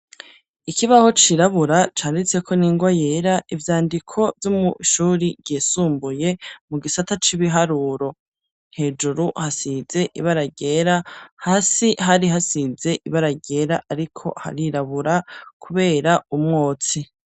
Ikibaho cirabura canditseko n'ingwa yera ivyandiko vyo mwishuri risumbuye mu gisata c'ibiharuro, hejuru hasize ibara ryera hasi hari hasize ibara ryera ariko harirabura kubera umwotsi.